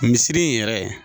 Misiri in yɛrɛ